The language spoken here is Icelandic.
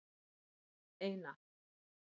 eina